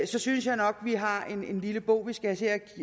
så synes jeg nok vi har en lille bog vi skal